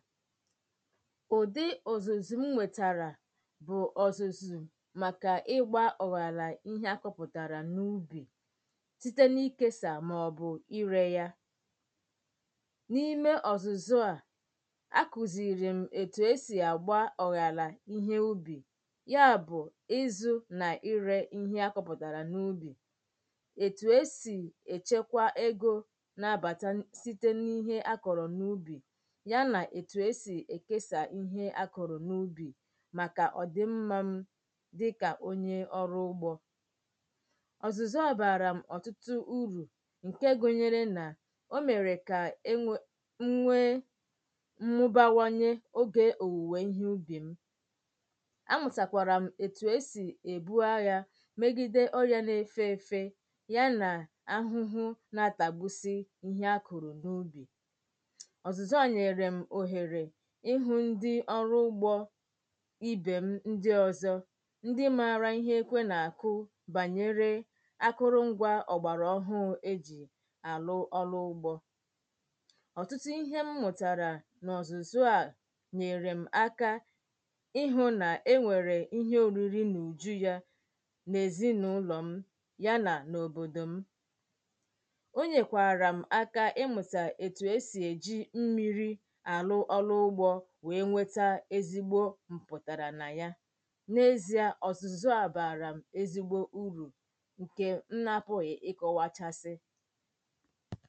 ụ̀dị ọ̀zụ̀zụ̀ m nwètàrà bụ̀ ọ̀zụ̀zụ̀ màkà ịgbā ọ̀ghàlà ihe akọ̄pụ̀tàrà n’ubì site n’ikesà màọbụ̀ irē ya n’ime ọ̀zụ̀zụ̀ a akùziìrì m ètù e sì àgba ọ̀ghàlà ihe ubì ya bụ̀ ịzụ̄ nà irē ihe akọ̄pụ̀tàrà n’ubì ètù e sì èchekwa egō na-abāta site n’ihe akọ̀rọ̀ n’ubì ya nà ètù e sì èkesà ihe akọ̀rọ̀ n’ubì màkà ọ̀ dị̀ mmā m dịkà onye ọrụ ugbō ọ̀zụ̀zụ̀ a baara m ọ̀tụtụ urù ǹkè gunyere nà o mèrè kà m nwee mmụbawanye ogè òwùwè ihe ubì m̀ a mụ̀tàkwàrà m etù e sì èbu aghā megide ọrịà na-efeefe ya nà ahụhụ na-atàgbùsi ihe akụ̀rụ̀ n’ubì ọ̀zụ̀zụ̀ a nyèrèm òhèrè ihụ̄ ndi ọrụ ugbō ibè m̀ ndi ọzọ̄ ndi maara ihe ekwe na-àkụ bànyere akụ̀rụ̀ ngwā ògbàrà ọhụụ e jì àlụ ọrụ ugbō ọ̀tụtụ ihe mmụ̀tàrà n’ọ̀zụ̀zụ̀ a nyèrè m aka ịhụ̄ nà enwèrè ihe òriri n’ùju ya n’èzinàụlọ̀ ya nà n’òbòdò m̀ ò nyèkwàrà m̀ aka imụ̀tà ètù e sì è ji mmīrī àlụ ugbō wee nweta ezigbo m̀pụ̀tàrà na ya n’èzià ọ̀zụ̀zụ̀ a baarà m̀ ezigbo urù ǹkè m̀ na-apụ̀ghị̀ ịkọ̄wachasị